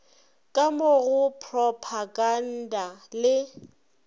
ka mo go propaganda le